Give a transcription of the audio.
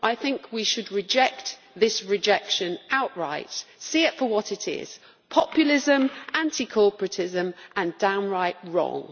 I think we should reject this rejection outright and see it for what it is populism, anti corporatism and downright wrong.